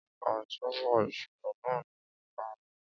A jábọ̀ ìṣẹ̀lẹ̀ náà ní ẹka àbò.